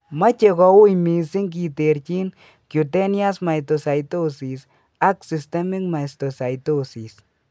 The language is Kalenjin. Moche koui missing kiterching cutaneous mastocytosis ak systemic mastocytosis